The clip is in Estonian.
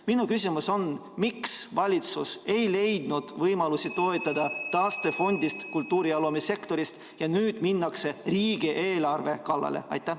Minu küsimus on: miks valitsus ei leidnud võimalusi toetada taastefondist kultuuri‑ ja loomesektorit ja nüüd minnakse riigieelarve kallale?